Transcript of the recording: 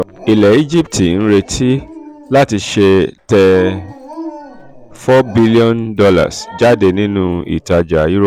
ilẹ̀ um egypt ń retí um láti tẹ four billion dollars jáde nínú ìtàjà eurobond